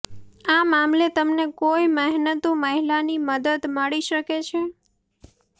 આ મામલે તમને કોઈ મહેનતુ મહિલાની મદદ મળી શકે છે